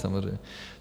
Samozřejmě.